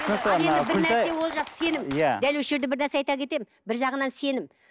түсінікті мына күлтай сенім иә дәл осы жерде бір нәрсе айта кетемін бір жағынан сенім